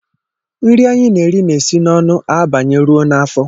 Nri anyị na-eri na-esi n'ọnụ abanye rụo n'áfọ́